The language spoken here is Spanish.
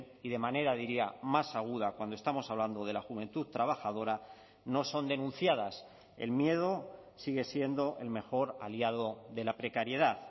y de manera diría más aguda cuando estamos hablando de la juventud trabajadora no son denunciadas el miedo sigue siendo el mejor aliado de la precariedad